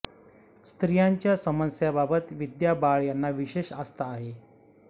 स्त्रियांच्या समस्यांबाबत विद्या बाळ यांना विशेष आस्था आहे